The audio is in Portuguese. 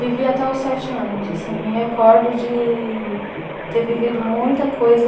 Vivi até os sete anos, assim, me recordo de ter vivido muita coisa